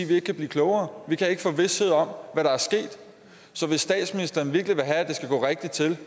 vi ikke kan blive klogere vi kan ikke få vished om hvad der er sket så hvis statsministeren virkelig vil have at det skal gå rigtigt til